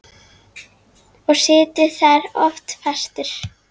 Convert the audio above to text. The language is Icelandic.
Og situr þar oft fastur.